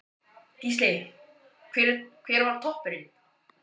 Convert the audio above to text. Gísli: Hver var toppurinn?